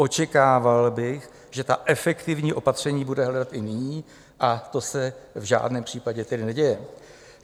Očekával bych, že ta efektivní opatření bude hledat i nyní, a to se v žádném případě tedy neděje.